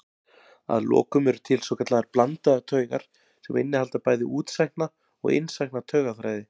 Að lokum eru til svokallaðar blandaðar taugar sem innihalda bæði útsækna og innsækna taugaþræði.